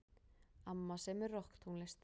Amma semur rokktónlist.